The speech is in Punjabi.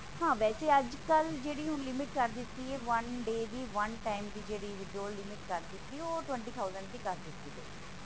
ਹਾਂ ਵੈਸੇ ਅੱਜਕਲ ਜਿਹੜੀ ਹੁਣ limit ਕਰ ਦਿਤੀ ਹੈ one day ਦੀ one ten ਦੀ ਜਿਹੜੀ withdraw limit ਕਰ ਦਿਤੀ ਓਹ ਜਿਹੜੀ ਹੈ ਟtwenty thousand ਦੀ ਕਰ ਦਿਤੀ ਗਈ ਹੈ